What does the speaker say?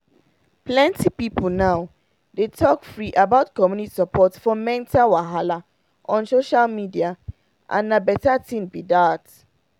plenty people now dey talk free about community support for mental wahala on social media and na better thing be that.